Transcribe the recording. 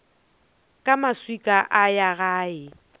ka maswika a ya gae